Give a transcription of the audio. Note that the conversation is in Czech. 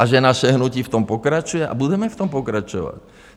A že naše hnutí v tom pokračuje a budeme v tom pokračovat?